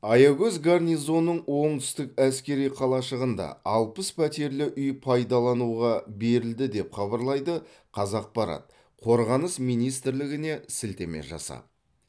аягөз гарнизонының оңтүстік әскери қалашығында алпыс пәтерлі үй пайдалануға берілді деп хабарлайды қазақпарат қорғаныс министрлігіне сілтеме жасап